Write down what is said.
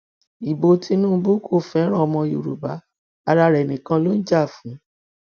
ibo tìnùbù kò fẹràn ọmọ yorùbá ara rẹ nìkan ló ń jà fún ọ